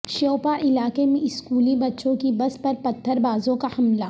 شیوپاں علاقے میں اسکولی بچوں کی بس پر پتھر بازوں کا حملہ